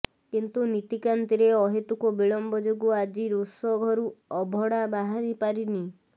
କିନ୍ତୁ ନୀତିକାନ୍ତିରେ ଅହେତୁକ ବିଳମ୍ବ ଯୋଗୁଁ ଆଜି ରୋଷଘରୁ ଅଭଡ଼ା ବାହାରି ପାରିନି